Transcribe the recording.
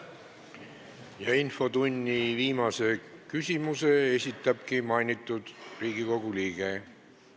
Infotunni viimase küsimuse esitabki mainitud Riigikogu liige.